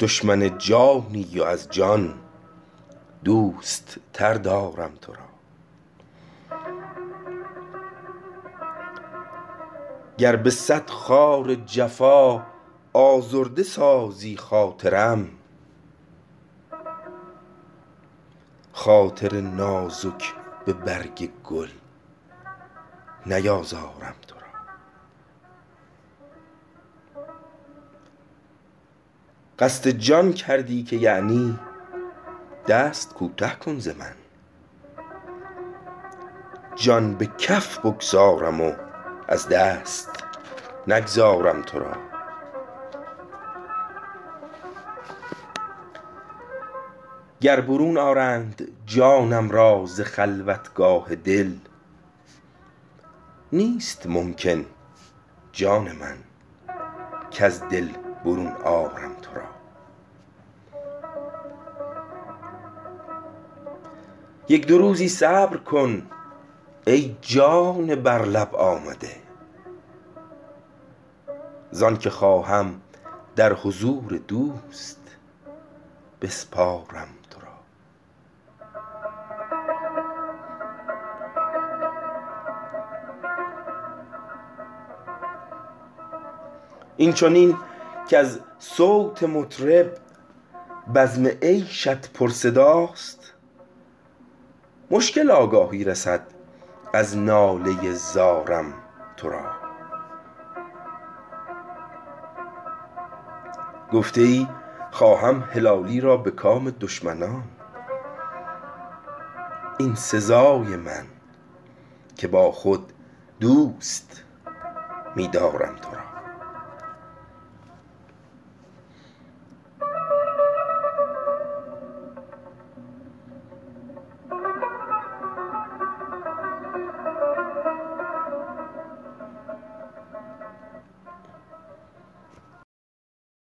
دشمن جانی و از جان دوست تر دارم تو را گر به صد خار جفا آزرده سازی خاطرم خاطر نازک به برگ گل نیازارم تو را قصد جان کردی که یعنی دست کوته کن ز من جان به کف بگذارم و از دست نگذارم تو را گر برون آرند جانم را ز خلوتگاه دل نیست ممکن جان من کز دل برون آرم تو را یک دو روزی صبر کن ای جان بر لب آمده زان که خواهم در حضور دوست بسپارم تو را این چنین کز صوت مطرب بزم عیشت پر صداست مشکل آگاهی رسد از ناله ی زارم تو را گفته ای خواهم هلالی را به کام دشمنان این سزای من که با خود دوست می دارم تو را